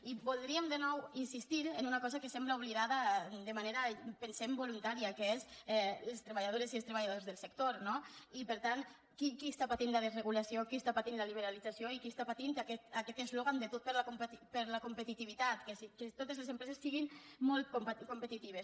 i voldríem de nou insistir en una cosa que sembla oblidada de manera pensem voluntària que és les treballadores i els treballadors del sector no i per tant qui està patint la desregulació qui està patint la liberalització i qui està patint aquest eslògan de tot per la competitivitat que totes les empreses siguin molt competitives